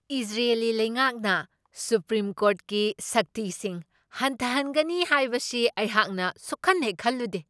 Israeli ꯂꯩꯉꯥꯛꯅ supreme ꯀꯣꯔ꯭ꯠꯀꯤ ꯁꯛꯇꯤꯁꯤꯡ ꯍꯟꯊꯍꯟꯒꯅꯤ ꯍꯥꯏꯕꯁꯤ ꯑꯩꯍꯥꯛꯅ ꯁꯨꯛꯈꯟꯍꯦꯛ ꯈꯜꯂꯨꯗꯦ꯫